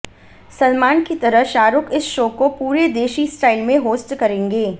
सलमान की तरह शाहरूख इस शो को पूरे देशी स्टाइल में होस्ट करेंगे